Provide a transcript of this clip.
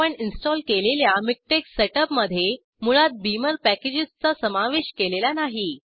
आपण इन्स्टॉल केलेल्या मिकटेक्स सेटअपमध्ये मुळात बीमर पॅकेजेसचा समावेश केलेला नाही